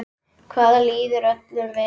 Þar líður öllum vel.